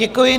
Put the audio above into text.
Děkuji.